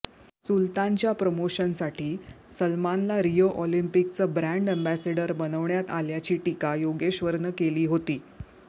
सुल्तानच्या प्रमोशनसाठी सलमानला रिओ ऑलिम्पिकचं ब्रॅण्ड अॅम्बेसेडर बनवण्यात आल्याची टीका योगेश्वरनं केली होती